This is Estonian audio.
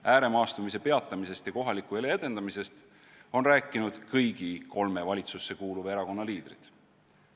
Ääremaastumise peatamisest ja kohaliku elu edendamisest on rääkinud kõigi kolme valitsusse kuuluva erakonna liidrid.